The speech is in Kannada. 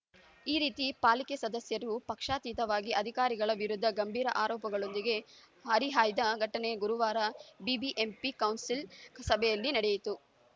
ಈ ರೀತಿ ಪಾಲಿಕೆ ಸದಸ್ಯರು ಪಕ್ಷಾತೀತವಾಗಿ ಅಧಿಕಾರಿಗಳ ವಿರುದ್ಧ ಗಂಭೀರ ಆರೋಪಗಳೊಂದಿಗೆ ಹರಿಹಾಯ್ದ ಘಟನೆ ಗುರುವಾರ ಬಿಬಿಎಂಪಿ ಕೌನ್ಸಿಲ್‌ ಸಭೆಯಲ್ಲಿ ನಡೆಯಿತು